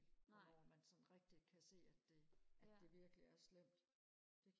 hvornår man sådan rigtig kan se at det at det virkelig er slemt